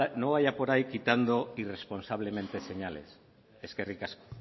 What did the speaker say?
no vaya por ahí quitando irresponsablemente señales eskerrik asko